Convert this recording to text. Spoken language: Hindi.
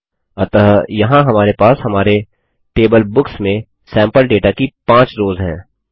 अतः यहाँ हमारे पास हमारे टेबल बुक्स में सैम्पल डेटा की 5 रोज़ हैं